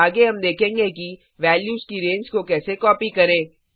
आगे हम देखेंगे कि वैल्यूज की रैंज को कैसे कॉपी करें